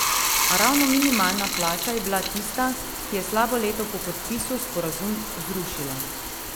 A ravno minimalna plača je bila tista, ki je slabo leto po podpisu sporazum zrušila.